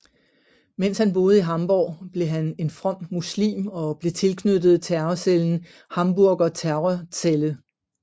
Mens han boede i Hamborg blev han en from muslim og blev tilknyttet terrorcellen Hamburger Terrorzelle